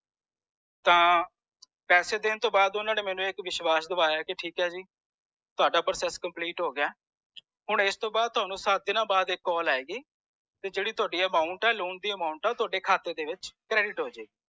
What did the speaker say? ਤਾਂ ਪੈਸੇ ਦੇਣ ਤੂੰ ਬਾਅਦ ਓਹਨਾ ਨੇ ਕਿਮੇਇਣੁ ਏਕ ਵਿਸ਼ਵਾਸ ਦਵਾਈਆਂ ਸੀ ਕਿ ਠੀਕ ਹੈ ਜੀ ਤੁਹਾਡਾ process complete ਹੋਗਿਆ ਹੈ ਹੁਣ ਇਸ ਤੂੰ ਬਾਅਦ ਥੌਨੂੰ ਸਤ ਦਿਨਾਂ ਬਾਅਦ ਇਕ call ਆਏਗੀ ਜੇਦੀ ਤੁਹਾਡੀ amount ਹੈ loan ਦੀ amount ਹੈ ਉਹ ਤੁਹਾਡੇ ਖਾਤੇ ਦੇ ਵਿਚ ਕ੍ਰੇਡਿਟ ਹੋਜੇਗੀ